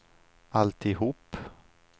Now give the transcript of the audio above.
alltihop